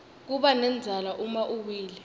kubanendzala uma uwile